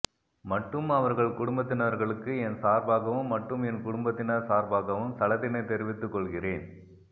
மட்டும் அவர்கள் குடும்பதினர்களுக்கு என் சார்பாகவும் மட்டும் என் குடும்பதினர் சார்பாகவும் சலதினை தெரிவித்துகொள்கிறேன்